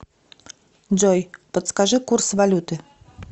джой подскажи курс валюты